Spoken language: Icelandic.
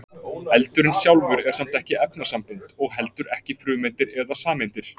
Eldurinn sjálfur er samt ekki efnasambönd og heldur ekki frumeindir eða sameindir.